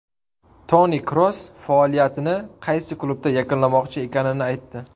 Toni Kroos faoliyatini qaysi klubda yakunlamoqchi ekanini aytdi.